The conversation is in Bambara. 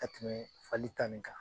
Ka tɛmɛ fali ta nin kan.